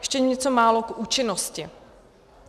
Ještě něco málo k účinnosti.